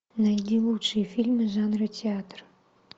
найди лучшие фильмы жанра театр